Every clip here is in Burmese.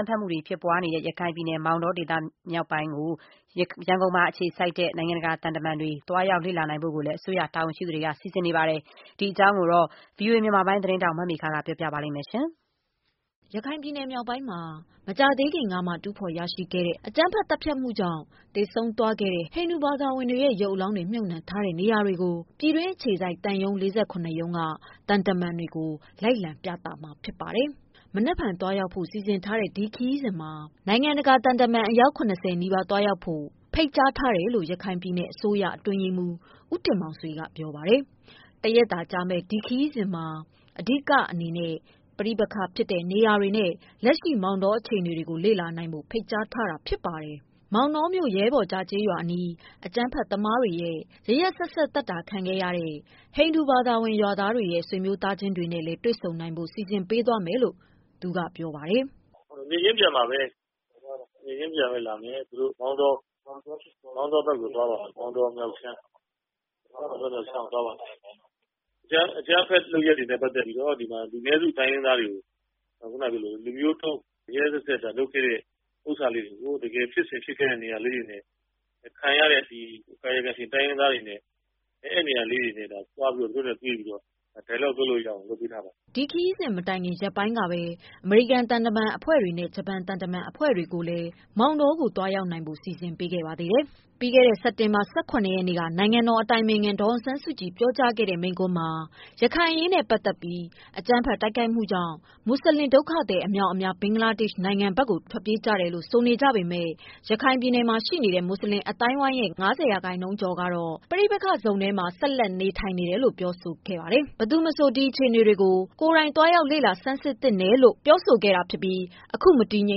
မ်းဖက်မှုတွေ ဖြစ်ပွားနေတဲ့ ရခိုင်ပြည်နယ် မောင်တောဒေသ မြောက်ပိုင်းကို ရန်ကုန်အခြေစိုက် နိုင်ငံတကာ သံတမန်တွေ သွားရောက် လေ့လာနိုင်ဖို့ အစိုးရ တာဝန်ရှိသူတွေက စီစဉ်နေပါတယ်။ ဒီသတင်းအပြည့်အစုံကို ဗွီအိုအေ မြန်မာပိုင်းက မေခ ပေးပို့ထားတာပါ။ ရခိုင် ပြည်နယ် မြောက်ပိုင်းမှာ မကြာသေးခင်ကမှ တူးဖော်ရရှိ ခဲ့တဲ့ အကြမ်းဖက် သတ်ဖြတ်မှုကြောင့် သေဆုံးသွားခဲ့တဲ့ ဟိန္ဒူဘာသာဝင်တွေရဲ့ ရုပ်အလောင်းတွေ မြုပ်နှံ ထားတဲ့နေရာတွေကို ပြည်တွင်းအခြေစိုက် သံရုံး ရုံးမှ သံတမန်တွေကို လိုက်လံ ပြသမှာ ဖြစ်ပါတယ်။ မနက်ဖြန် သွားရောက်ဖို့ စီစဉ်ထားတဲ့ ဒီခရီးစဉ်မှာ နိုင်ငံတကာ သံတမန် အယောက် ၇၀ နီးပါးလောက်သွားရောက်ဖို့ ဖိတ်ကြား ထားတယ်လို့ ရခိုင်ပြည်နယ် အစိုးရ အတွင်းရေးမှူး ဦးတင်မောင်ဆွေ ကပြောပါတယ်။ တရက်သာကြာမယ့် ဒီခရီးစဉ် မှာ အဓိက အနေနဲ့ ပဋိပက္ခဖြစ်တဲ့နေရာတွေ နဲ့ လက်ရှိ မောင်တော အခြေအနေတွေကို လေ့လာနိုင်ဖို့ ဖိတ်ကြား ထားတာဖြစ်ပါတယ်။ မောင်တောမြို့ ရဲဘော်ကျား ကျေးရွာ အနီး အကြမ်းဖက်သမားတွေရဲ့ ရက်ရက်စက်စက် သတ်တာခံရတဲ့ ဟိန္ဒူဘာသာဝင် ရွာသားတွေရဲ့ ဆွေမျိုး သားချင်းတွေနဲ့ တွေ့ဆုံ နိုင်ဖို့ စီစဉ်ပေးသွားမယ်လို့ သူကပြော ပါတယ်။ “နေ့ချင်းပြန်မှာပဲ ၊ နေ့ချင်းပြန်နဲ့လာမယ်သူတို့ မောင်တော ဘက်ကိုသွားပါမယ်၊ မောင်တောမြောက်ဘက်အခြမ်း ။ အကြမ်းဖက်လုပ်ရက်တွေနဲ့ ပတ်သက်ပြီးတော့ ဒီမှာ လူနည်းစုတိုင်းရင်းသားတွေကို လူမျိုးတုံး ရက်ရက်စက်စက် လုပ်ခဲ့တာလေးတွေကို တကယ်ဖြစ်စဉ်ဖြစ်ခဲ့တဲ့ နေရာလေးတွေနဲ့ ခံရတဲ့ ကာယကံရှင် တိုင်းရင်းသားတွေနဲ့ အဲဒီနေရာလေးတွေကို သွားပြီးတော့ သူတို့နဲ့ တွေ့ပြီးတော့ dialogue လုပ်လို့ရအောင် လုပ်ပေးထားပါတယ်။” ဒီခရီးစဉ် မတိုင်ခင် မကြာခင်ရင်ပိုင်းကဘဲ အမေရိကန် သံတမန်အဖွဲတွေ နဲ့ ဂျပန်သံတမန်အဖွဲ့တို့ ကိုလည်း မောင် တောကို သွားရောက် နိုင်ဖို့ စီစဉ်ပေးခဲ့ ပါသေးတယ်။ ပြီးခဲ့တဲ့ စက်တင်ဘာ ၁၉ ရက်နေ့က နိုင်ငံတော်အတိုင်ပင်ခံ ဒေါ်အောင် ဆန်းစုကြည် ပြောကြားခဲ့တဲ့ မိန့်ခွန်းမှာ ရခိုင်အရေးနဲ့ ပတ်သက်ပြီး အကြမ်း ဖက်တိုက်ခိုက် မှုကြောင့် မွတ်ဆလင် ဒုက္ခသည် အမြောက်အမြား ဘင်္ဂလားဒေ့ရှ်နိုင်ငံဘက်ကို ထွက်ပြေးကြ တယ်လို့ ဆိုနေကြပေမယ့် ရခိုင်ပြည်နယ်ရှိ မွတ်ဆလင် အသိုင်း အဝိုင်းရဲ့ ၅၀%ကျော် ဟာ ပဋိပက္ခဇုံထဲမှာ ဆက်လက် နေထိုင် တယ်လို့ ပြောဆိုခဲ့တာဖြစ်ပါတယ်။ ဘယ်သူ မဆို ဒီအခြေအနေကို ကိုယ်တိုင် သွားရောက် လေ့လာ ဆန်းစစ်သင့်တယ်လို့ လည်း ပြောဆိုခဲ့တာ ဖြစ်ပြီး အခု မတည်ငြိ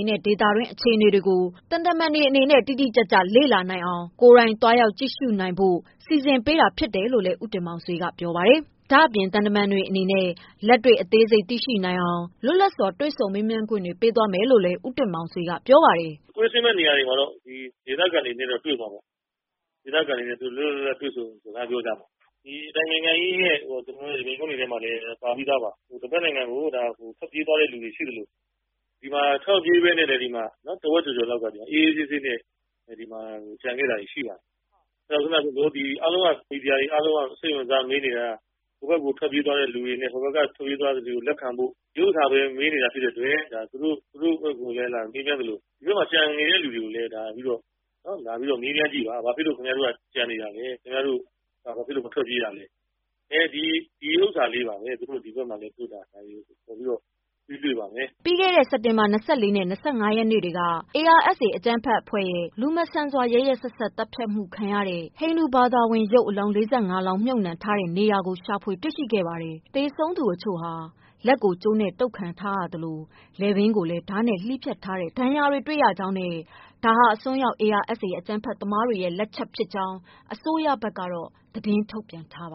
မ်တဲ့ ဒေသတွင်း အခြေနေတွေကို ကိုယ်တိုင် သွားရောက် ကြည့်ရှု နိုင်အောင် စီစဉ်ပေးတာလို့ ဦးတင်မောင်ဆွေက ပြောပါတယ်။ ဒါ့အပြင် သံတမန်တွေ အနေနဲ့ လက်တွေ့ သိရှိနိုင်အောင် လွတ်လပ်စွာ တွေ့ဆုံ မေးမြန်းခွင့်တွေ ပြုသွာမယ်လို့လည်း ပြောပါတယ်။ “ကွင်းဆင်းမယ့်နေရာတွေမှာတော့ ဒေသခံတွေနဲ့တော့တွေ့မှာပေါ့၊ ဒေသခံတွေနဲ့ လွတ်လွတ်လပ်လပ်တွေ့ဆုံစကားပြောကြမှာပေါ့ ။ ဒီအတိုင်ပင်ခံကြီးရဲ့ မိန့်ခွန်းတွေမှာလည်းပါပြီးသားပါ။ တဖက်နိုင်ငံကို ထွက်ပြေးသွားတဲ့လူတွေရှိသလို ဒီမှာထွက်မပြေးပဲနဲ့ တဝက်ကျော်ကျော်လောက်က အေးအေးဆေးဆေးနဲ့ ဒီမှာကျန်ခဲ့တာတွေရှိတယ်။ ခုနပြောသလို အားလုံးက မီဒီယာတွေအားလုံးက စိတ်ဝင်စားပြီးမေးနေတဲ့ ဟိုဘက်က ထွက်ပြေးသွားတဲ့လူတွေကိုလက်ခံဖို့ ဒီဟာပဲမေးနေတာဖြစ်တဲ့အတွက် သူတို့ဘက်ကိုလည်းမေးမြန်းသလို ဒီဘက်မှာလည်း ကျန်နေတဲ့လူတွေကို လာပြီးတော့ မေးမြန်းကြည့်ပါ။ ဘာဖြစ်လို့ ခင်ဗျားတို့က ကျန်နေတာလဲ၊ ဘာဖြစ်လို့ မထွက်ပြေးတာလဲ ဒီဥစ္စာလေးပါပဲ သူတို့ ဒီဘက်မှာလာရင် ပေးတွေ့ပါမယ်။” ပြီးခဲ့တဲ့ ၂၄ ရက်နေ့နဲ့ ၂၅ ရက်နေ့တွေမှာ ARSA အကြမ်းဖက်အဖွဲ့ရဲ့ လူမဆန်စွာ ရက်ရက်စက်စက် သတ်ဖြတ်မှု ခံရတဲ့ ဟိန္ဒူဘာသာဝင်အလောင်း ၄၅ လောင်းမြုပ်နှံ ထားတဲ့နေရာကို ရှာတွေ့ခဲ့ပါတယ်။ သေဆုံးသူ အချို့ဟာ လက်ကိုကြိုးနဲ့ တုတ်ခံထား ရသလို လည်ပင်းကိုလည်း ဓါးနဲ့ လှီးဖြတ်ထားတဲ့ ဒဏ်ရာတွေတွေ့ရှိကြောင်း နဲ့ ဒါဟာအစွန်းရောက် ARSA အကြမ်းဖက်သမားတွေလက်ချက်ဖြစ်ကြောင်း အစိုးရဘက်က သတင်းထုတ်ပြန်ထားပါ